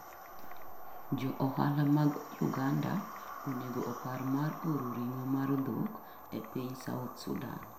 Jo ohala mag Uganda onego opar mar oro ring'o mar dhok e piny South Sudan